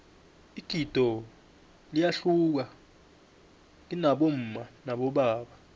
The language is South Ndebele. igido liyahluka kibomma nabobaba